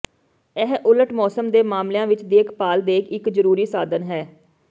ਇਹ ਉਲਟ ਮੌਸਮ ਦੇ ਮਾਮਲਿਆਂ ਵਿੱਚ ਦੇਖਭਾਲ ਦੇ ਇੱਕ ਜ਼ਰੂਰੀ ਸਾਧਨ ਹੈ